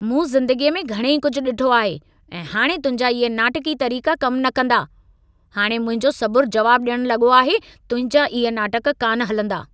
मूं ज़िंदगीअ में घणई कुझु डि॒ठो आहे ऐं हाणे तुंहिंजा इहे नाटकी तरीक़ा कम न कंदा। हाणि मुंहिंजो सबुर जवाब ॾियण लॻो आहे। तुंहिंजा इहे नाटक कान हलंदा।